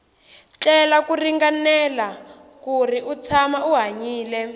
tlela ku ringanela kuri u tshama u hanyile